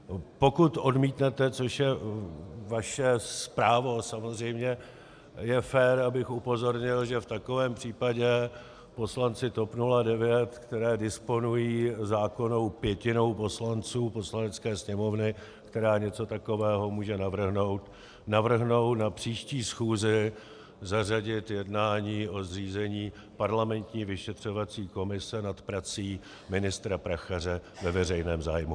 Pokud odmítnete, což je vaše právo samozřejmě, je fér, abych upozornil, že v takovém případě poslanci TOP 09, kteří disponují zákonnou pětinou poslanců Poslanecké sněmovny, která něco takového může navrhnout, navrhnou na příští schůzi zařadit jednání o zřízení parlamentní vyšetřovací komise nad prací ministra Prachaře ve veřejném zájmu.